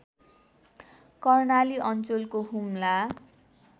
कर्णाली अञ्चलको हुम्ला